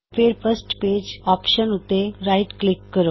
ਫੇਰ first page option ਉੱਤੇ right click ਕਰੋ